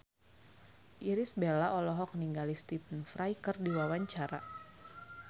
Irish Bella olohok ningali Stephen Fry keur diwawancara